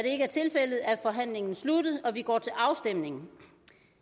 forhandlingen sluttet og vi går til afstemning